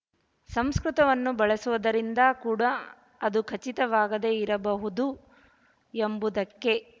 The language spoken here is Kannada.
ಸಂಸ್ಕೃತವನ್ನು ಬಳಸುವುದರಿಂದ ಕೂಡ ಅದು ಖಚಿತವಾಗದೆ ಇರಬಹುದು ಎಂಬುದಕ್ಕೆ